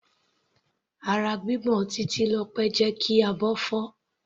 Ara gbígbọ̀n Titilope jẹ́ kí abọ́ fọ́.